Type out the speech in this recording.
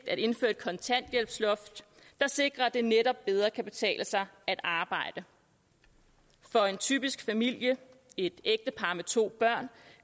at indføre et kontanthjælpsloft der sikrer at det netop bedre kan betale sig at arbejde for en typisk familie et ægtepar med to børn